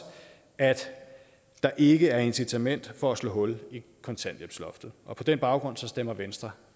at der ikke er incitament for at slå hul i kontanthjælpsloftet og på den baggrund stemmer venstre